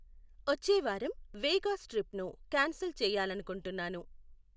వచ్చే వారం వేగాస్ ట్రిప్ను క్యాన్సిల్ చేయాలనుకుంటున్నాను.